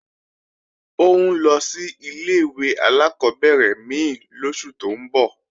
Ó ń lọ sí ilé-ìwé alákọ́bẹ̀rẹ̀ mí lóṣù tó ń bọ̀